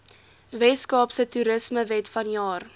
weskaapse toerismewet vanjaar